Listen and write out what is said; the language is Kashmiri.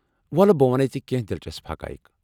وو٘لہٕ، بہٕ ونَے ژے کینٛہہ دلچسپ حقایق ۔